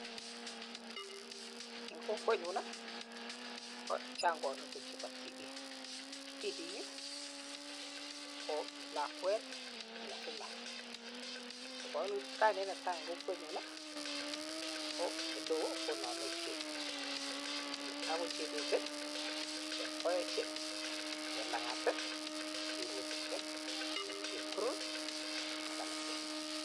En kokwenyun ii kochang koinutik chebo tibik. Tibik ii ko lakwet ne female. Kainet ne tai en kokwenyun ii ko ele oo konome chep. Netai ko: Chebet, Chepkoech, Chelang'at, cherotich, Chepkurui ak alak che chang.